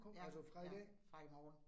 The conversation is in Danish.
Ja, ja, fra i morgen